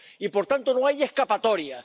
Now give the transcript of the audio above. Y, por tanto, no hay escapatoria.